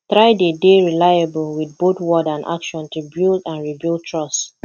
try de dey reliable with both word and action to build or rebuild trust